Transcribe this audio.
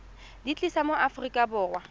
di tlisa mo aforika borwa